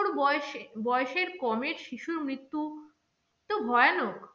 বয়সেবয়সের কমে শিশুর মৃত্যু তো ভয়ানক।